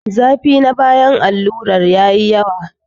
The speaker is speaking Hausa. Zafi na bayan alluran yayi yawa.